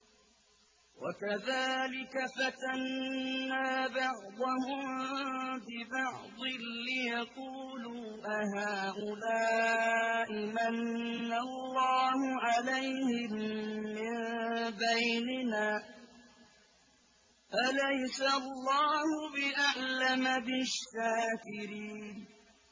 وَكَذَٰلِكَ فَتَنَّا بَعْضَهُم بِبَعْضٍ لِّيَقُولُوا أَهَٰؤُلَاءِ مَنَّ اللَّهُ عَلَيْهِم مِّن بَيْنِنَا ۗ أَلَيْسَ اللَّهُ بِأَعْلَمَ بِالشَّاكِرِينَ